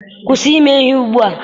kwụsị ime ihe ugbua!